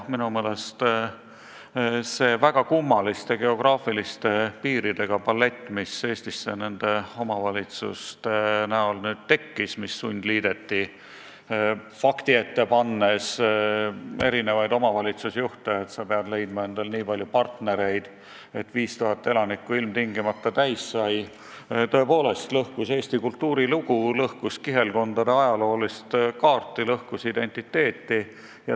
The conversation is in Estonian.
Minu meelest see väga kummaliste geograafiliste piiridega palett, mis Eestisse nende sundliidetud omavalitsuste näol nüüd tekkis – pannes omavalitsusjuhid fakti ette, et peab leidma endale nii palju partnereid, et 5000 elanikku ilmtingimata täis saaks –, tõepoolest lõhkus Eesti kultuurilugu, lõhkus kihelkondade ajaloolist kaarti, lõhkus identiteeti.